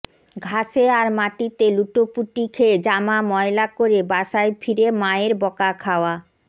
ঘাসে আর মাটিতে লুটোপুটি খেয়ে জামা ময়লা করে বাসায় ফিরে মায়ের বকা খাওয়া